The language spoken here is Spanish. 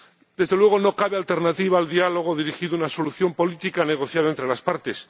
Desde luego, no cabe alternativa al diálogo dirigido a una solución política negociada entre las partes.